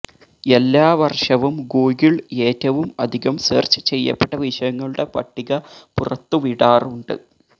എല്ലാ വർഷവും ഗൂഗിൾ ഏറ്റവും അധികം സെർച്ച് ചെയ്യപ്പെട്ട വിഷയങ്ങളുടെ പട്ടിക പുറത്തുവിടാറുണ്ട്